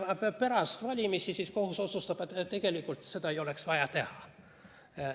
Pärast valimisi kohus siiski otsustab, et tegelikult seda poleks olnud vaja teha.